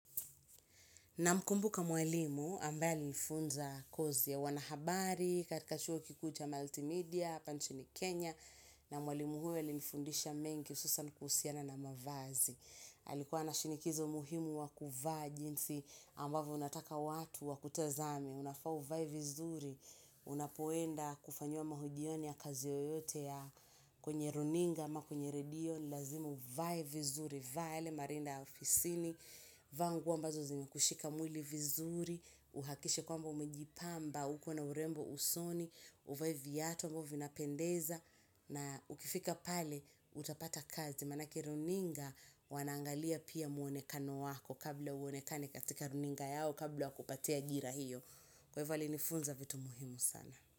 Na mkumbuka mwalimu, ambaye alinifunza kozi ya wanahabari, katika chuo kikuu cha multimedia, hapa nchini Kenya, na mwalimu huyo alinifundisha mengi, hususan kuhusiana na mavazi. Alikuwa na shinikizo muhimu wakuvaa jinsi ambavyo unataka watu wakutazame, unafaa uvae vizuri, unapoenda kufanyiwa mahojioni ya kazi yoyote ya kwenye runinga, ama kwenye redio, lazima uvae vizuri. Vaa yale, marinda ya ofisini vaa nguo ambazo zinakushika mwili vizuri, uhakishe kwamba umejipamba, uko na urembo usoni, uvae viatu ambavyo vinapendeza, na ukifika pale, utapata kazi maanake runinga, wanaangalia pia muonekano wako, kabla uonekane katika runinga yao, kabla wakupatie ajira hiyo, kwa hivo alinifunza vitu muhimu sana.